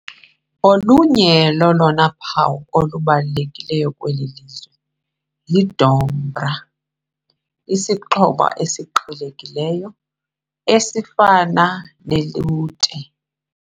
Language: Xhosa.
Olunye lolona phawu lubalulekileyo lweli lizwe yi dombra, isixhobo esiqhelekileyo esifana ne lute .